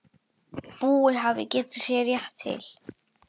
Búi hafði getið sér rétt til.